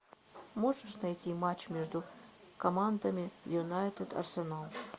можешь найти матч между командами юнайтед арсенал